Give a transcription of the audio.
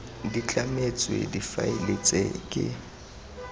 di tlametswe difaele tse ke